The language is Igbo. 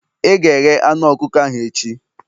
ị ga-eghe anu ọkụkọ ahụ echi!